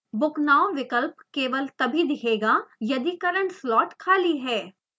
book now विकल्प केवल तभी दिखेगा यदि current slot खाली है